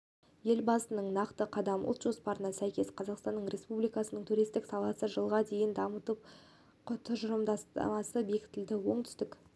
елбасының нақты қадам ұлт жоспарына сәйкес қазақстан республикасының туристік саласын жылға дейін дамыту тұжырымдамасы бекітілді оңтүстік